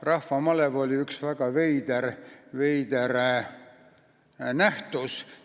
Rahvamalev oli üks väga veider nähtus.